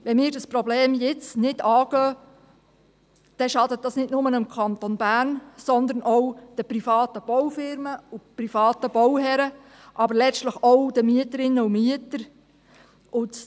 Wenn wir uns dieses Problem jetzt nicht annehmen, schadet das nicht nur dem Kanton Bern, sondern auch den privaten Baufirmen, den privaten Bauherren, aber letztlich auch den Mieterinnen und Mietern.